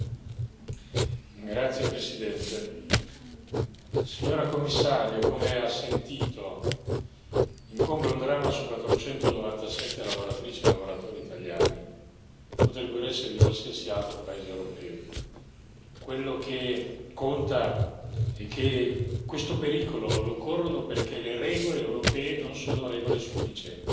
Signor Presidente, onorevoli colleghi, signora Commissario, come ha sentito incombe un dramma su 497 lavoratrici e lavoratori italiani. Potrebbero essere di qualsiasi altro paese europeo. Quello che conta è che questo pericolo lo corrono perché le regole europee non sono regole sufficienti.